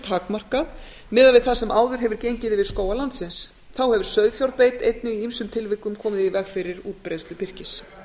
takmarkað miðað við það sem áður hefur gengið yfir skóga landsins þá hefur sauðfjárbeit einnig í ýmsum tilvikum komið í veg fyrir útbreiðslu birkis